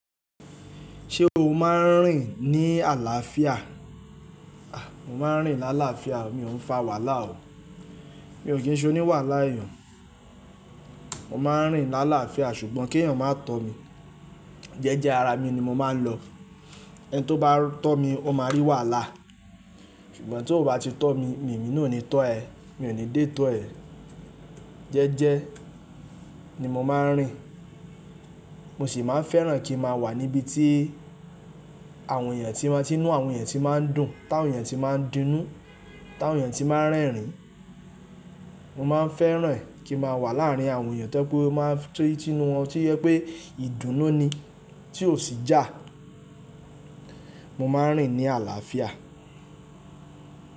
Ṣé o máa ń rìn ní àlàáfíà? Mo máa ń rìn lálàáfíà o, mi ò n fa wàhálà o. Mi ò kí ń ṣe oni wàhálà eeyàn. Mo máa ń rìn lálàáfíà ṣùgbọ́n kí eeyàn má tọ́ mi. Jẹ́jẹ́ ara mi ni mo máa ń lọ. Ẹni tó bá tọ́ mi ó máa rí wàhálà. Ṣùgbọ́n tó o bá ti tọ́ mi, èmi nì ó ní tọ́ ẹ. Mi ò ní dé tọ́ ẹ. Jẹ́jẹ́ ni mo máa ń rìn. Mo sì máa ń fẹ́ràn kí n ma wà níbi tí àwọn èèyàn tí lń tinu àwọn èèyàn tí máa ń dùn, ti áwọn èèyàn tí máa ń dun inu, ti awọn èèyàn tí máa ń rẹ́rìn. Mo máa ń fẹ́ràn e kí n maa wà láárín àwọn èèyàn to je pẹ́ ó máa ń tì tinu wọn tó jẹ pé ìdùnnú ni tí ò sì ijà. Mo máa ń rìn ní àlàáfíà.